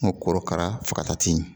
N ko korokara fagata ti ɲɛ